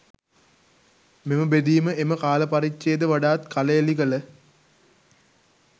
මෙම බෙදීම එම කාල පරිච්ඡේද වඩාත් කළඑළි කළ